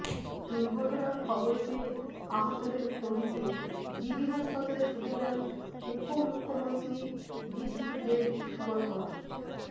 দুর্ঘটনার খবর পেয়ে আহতদের খোঁজ নিয়ে জিবি হাসপাতালে ছুটে যান উপমুখ্যমন্ত্রী জিষ্ণু দেববর্মা